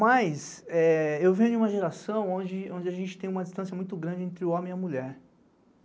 Mas eu venho de uma geração onde a gente tem uma distância muito grande entre o homem e a mulher.